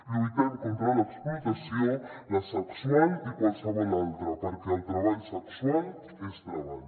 lluitem contra l’explotació la sexual i qualsevol altra perquè el treball sexual és treball